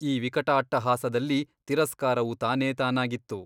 ಆ ವಿಕಟಾಟ್ಟಹಾಸದಲ್ಲಿ ತಿರಸ್ಕಾರವು ತಾನೇ ತಾನಾಗಿತ್ತು.